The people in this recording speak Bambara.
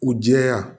U jɛya